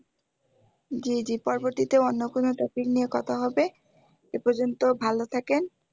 জি জি পরবর্তীতে অন্য কোন topic নিয়ে কথা হবে এ পর্যন্ত ভালো থাকেন